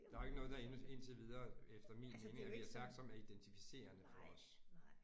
Der er jo ikke noget der ind indtil videre efter min mening at vi har sagt som er identificerende for os